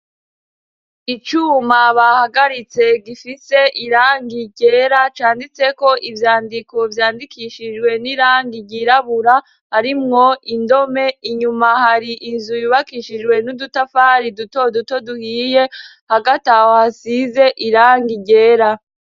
Icuma bahagaritse gifite irangi ryera canditseko ivyandiko vyandikishijwe n'irangi ryirabura ,harimwo indome inyuma. Har'inzu zubakishijwe n'udutafari duto duto duhiye ,hagati aho, hasize irangi ryera.